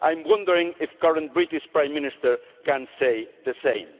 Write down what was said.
I'm wondering if the current British Prime Minister can say the same.